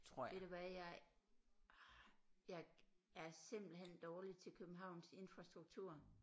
Ved du hvad jeg jeg er simpelthen dårlig til Københavns infrastruktur